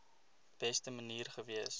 beste manier gewees